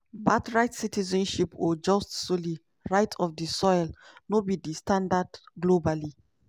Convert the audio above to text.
birthright citizenship or jus soli (right of di soil) no be di standard globally.